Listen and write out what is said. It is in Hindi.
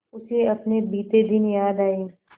उसे अपने बीते दिन याद आए